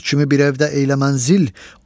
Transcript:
Büt kimi bir evdə eylə mənzil,